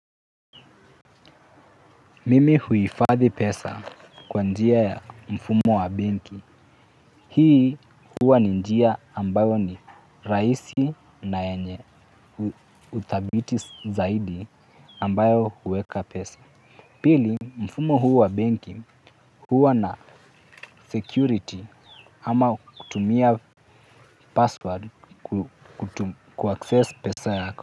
Mimi huhifadhi pesa kwa njia ya mfumo wa benki. Hii huwa ni njia ambayo ni rahisi na yenye uthabiti zaidi ambayo huweka pesa. Pili mfumo huu wa benki huwa na security ama kutumia password kuaccess pesa yako.